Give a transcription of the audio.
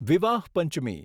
વિવાહ પંચમી